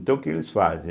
Então o que eles fazem?